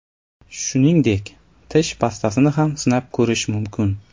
Shuningdek, tish pastasini ham sinab ko‘rish mumkin.